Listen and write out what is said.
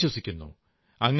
അവരെ അവിശ്വസിക്കുന്നു